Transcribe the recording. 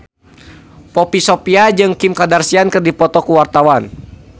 Poppy Sovia jeung Kim Kardashian keur dipoto ku wartawan